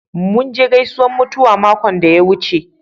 Mun je gaisunan mutuwa makon da ya wuce.